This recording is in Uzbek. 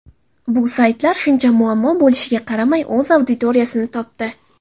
Bu saytlar, shuncha muammo bo‘lishiga qaramay, o‘z auditoriyasini topdi.